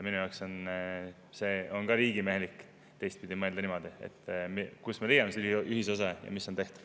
Minu jaoks on riigimehelik ka teistpidi mõelda, niimoodi, et kus me leiame ühisosa ja mis on tehtav.